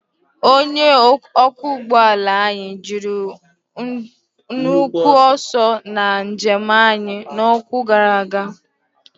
Onye ọkwọ ụgbọ ala anyị ji nnukwu ọsọ na njem anyị n'ọnwa gara aga.